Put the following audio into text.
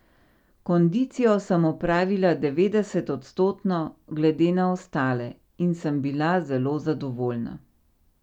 Kondicijo sem opravila devetdeset odstotno glede na ostale in sem bila zelo zadovoljna.